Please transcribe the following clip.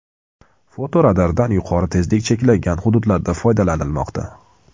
Fotoradardan yuqori tezlik cheklangan hududlarda foydalanilmoqda.